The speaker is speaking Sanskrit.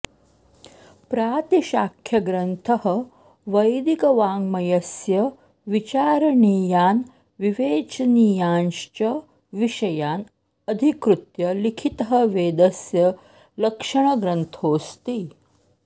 प्रातिशाख्यग्रन्थः वैदिकवाङ्गमयस्य विचारणीयान् विवेचनीयांश्च विषयान् अधिकृत्य लिखितः वेदस्य लक्षणग्रन्थोऽस्ति